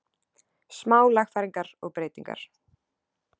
Smá lagfæringar og breytingar.